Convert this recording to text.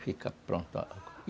Fica pronto a